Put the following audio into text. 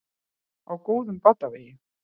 Á góðum batavegi